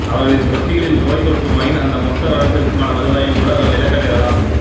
அவர்களின் தொட்டிகளில் நோய் தொற்றுமாயின் அந்த மொத்த வருடத்திற்குமான வருவாயையும் கூட அவர்கள் இழக்க நேரலாம்